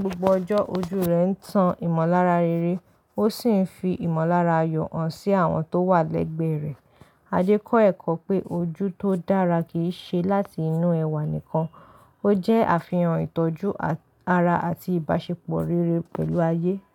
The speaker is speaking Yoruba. gbogbo ọjọ́, ojú rẹ̀ ń tan ìmọ̀lára rere, ó sì ń fi ìmọ̀lára yọ̀ hàn sí àwọn tó wà lẹ́gbẹ̀ẹ́ rẹ̀. Adé kọ́ ẹ̀kọ́ pé ojú tó dára kì í ṣe láti inú ẹwà nìkan, ó jẹ́ àfihàn ìtọ́jú ara àti ìbáṣepọ̀ rere pẹ̀lú ayé.